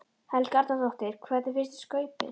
Helga Arnardóttir: Hvernig fannst þér skaupið?